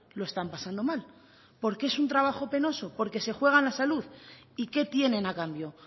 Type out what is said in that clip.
lo están pasando mal porque es un trabajo penoso porque se juegan la salud y qué tienen a cambio